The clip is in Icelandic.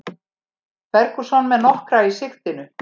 Ferguson með nokkra í sigtinu